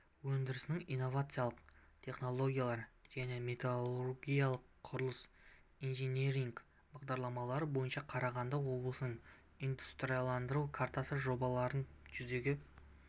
өндірісінің инновациялық технологиялары және металлургиядағы құрылыс инжинирингі бағдарламалары бойынша қарағанды облысында индустрияландыру картасы жобаларын жүзеге